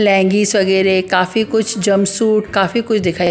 लेगीस वगैरह काफी कुछ जमसूट काफी कुछ दिखा --